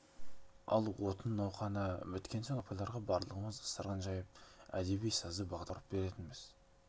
ал отын науқаны біткен соң апайларға барлығымыз дастархан жайып әдеби-сазды бағдарлама құрып беретінбіз